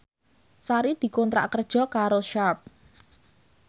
Sari dikontrak kerja karo Sharp